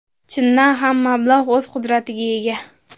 Chindan ham, mablag‘ o‘z qudratiga ega.